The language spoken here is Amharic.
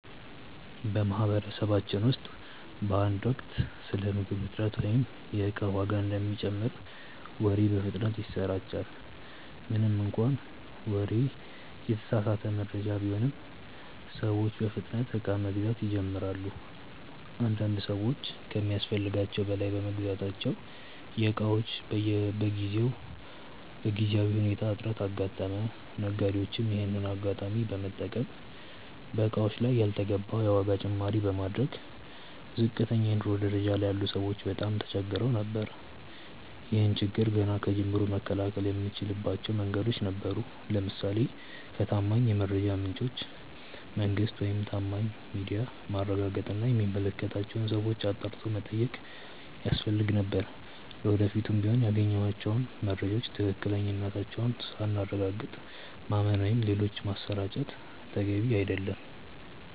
በማህበረሰባችን ውስጥ በአንድ ወቅት ስለ ምግብ እጥረት ወይም የእቃ ዋጋ እንደሚጨምር ወሬ በፍጥነት ይሰራጫል። ምንም እንኳን ይህ ወሬ የተሳሳተ መረጃ ቢሆንም፤ ሰዎች በፍጥነት እቃ መግዛት ይጀምራሉ። አንዳንድ ሰዎች ከሚያስፈልጋቸው በላይ በመግዛታቸው የእቃዎች በጊዜያዊ ሁኔታ እጥረት አጋጠመ። ነጋዴዎችም ይሄንን አጋጣሚ በመጠቀም በእቃዎቹ ላይ ያልተገባ የዋጋ ጭማሪ በማድረጋቸው ዝቅተኛ የኑሮ ደረጃ ላይ ያሉ ሰዎች በጣም ተቸግረው ነበር። ይህን ችግር ገና ከጅምሩ መከላከል የምንችልባቸው መንገዶች ነበሩ። ለምሳሌ ከታማኝ የመረጃ ምንጮች (መንግስት፣ ታማኝ ሚዲያ)ማረጋገጥ እና የሚመለከታቸውን ሰዎች አጣርቶ መጠየቅ ያስፈልግ ነበር። ለወደፊቱም ቢሆን ያገኘናቸውን መረጃዎች ትክክለኛነታቸውን ሳናረጋግጥ ማመን ወይም ሌሎች ማሰራጨት ተገቢ አይደለም።